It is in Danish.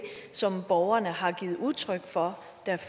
som borgerne har givet udtryk for